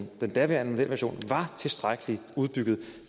den daværende modelversion var tilstrækkeligt udbygget